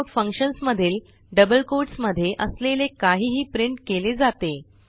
cout functions मधील double quotesमधे असलेले काहीही प्रिंट केले जाते